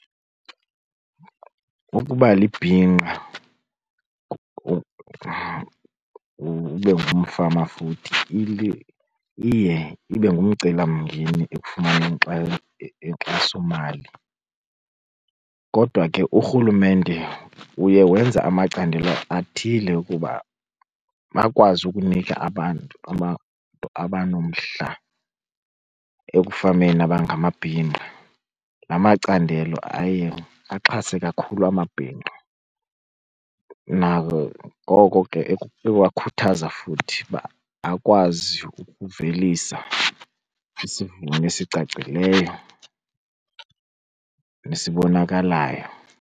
Ukuba libhinqa ube ngumfama futhi iye ibe ngumcelimngeni ekufumaneni inkxasomali. Kodwa ke urhulumente uye wenza amacandelo athile ukuba bakwazi ukunika abantu abanomdla ekufameni abangamabhinqa. La macandelo aye axhase kakhulu amabhinqa nangoko ke ewakhuthaza futhi uba akwazi ukuvelisa isivuno esicacileyo nesibonakalayo.